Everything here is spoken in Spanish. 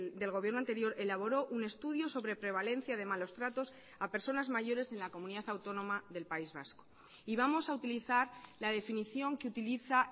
del gobierno anterior elaboró un estudio sobre prevalencia de malos tratos a personas mayores en la comunidad autónoma del país vasco y vamos a utilizar la definición que utiliza